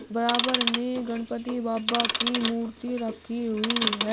बराबर में गणपति बप्पा की मूर्ति रखी हुई है।